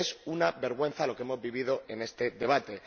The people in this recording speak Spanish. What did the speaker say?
¡Es una vergüenza lo que hemos vivido en este debate!